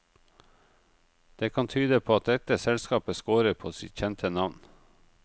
Det kan tyde på at dette selskapet scorer på sitt kjente navn.